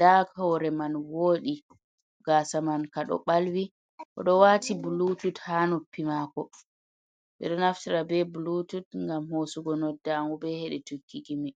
daa hore man wodi, gasa man ka do balwi o do wati blutut ha nuppi mako bedo naftira be blutut gam hosugo noddamu be hede tukki gimi.